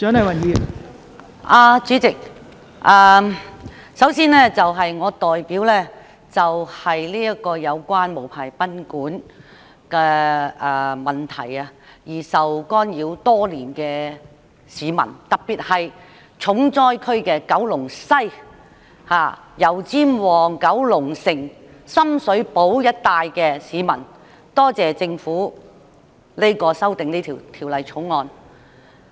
代理主席，首先，我代表因無牌賓館而受滋擾的市民，特別是重災區——九龍西、油尖旺、九龍城及深水埗一帶——的市民，多謝政府就《旅館業條例》提出修訂。